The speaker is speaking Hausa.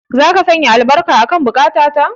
Zaka sanya albarka akan buƙata ta.